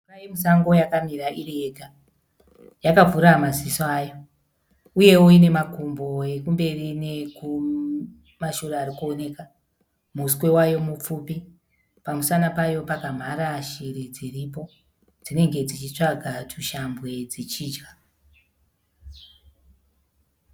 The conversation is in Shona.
Mhuka yemusango yakamira iriyega. Yakavhura naziso ayo. Uyewo ine makumbo ekumberi nekumashure ari kuoneka, muswe wayo mupfupi. Pamusana payo pakamhara shiri dziripo. Dzinenge dzichitsvaga tushambwe dzichidya.